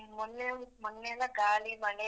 ಹ್ಮ್ ಮೊನ್ನೆ ಮೊನ್ನೆಯೆಲ್ಲ ಗಾಳಿ ಮಳೆ.